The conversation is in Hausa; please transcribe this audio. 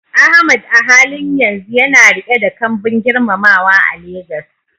Ahmad a halin yanzu yana riƙe da kambun girmamawa a Legas.